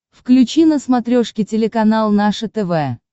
включи на смотрешке телеканал наше тв